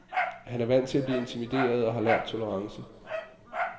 Han er vant til at blive intimideret og har lært tolerance.